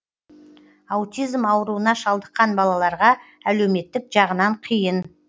аутизм ауруына шалдыққан балаларға әлеуметтік жағынан қиын